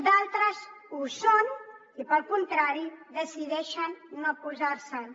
d’altres ho són i pel contrari decideixen no posar se’n